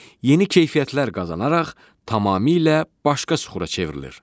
Yeni keyfiyyətlər qazanaraq tamamilə başqa süxura çevrilir.